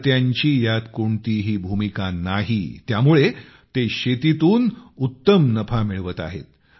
अडत्यांची यात कोणतीही भूमिका नाही त्यामुळे ते शेतीतून उत्तम नफा मिळवत आहेत